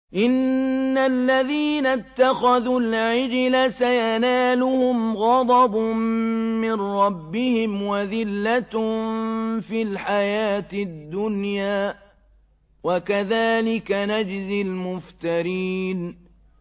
إِنَّ الَّذِينَ اتَّخَذُوا الْعِجْلَ سَيَنَالُهُمْ غَضَبٌ مِّن رَّبِّهِمْ وَذِلَّةٌ فِي الْحَيَاةِ الدُّنْيَا ۚ وَكَذَٰلِكَ نَجْزِي الْمُفْتَرِينَ